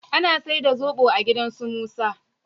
Ana saida sobo a gidan su Musa.